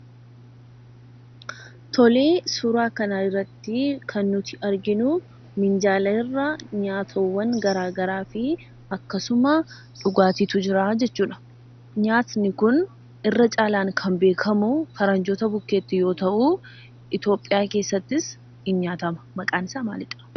Tolee, Suuraa kana irrattii kan nuti arginuu minjaala irra nyaatowwan garaa garaa fi akkasuma dhugaatiitu jiraa jechuudha. Nyaatni kun irra caalaan kan beekamuu faranjoota bukkeetti yoo ta'uu Itoophiyaa keessattis in nyaatama. Maqaan isaa maalidha?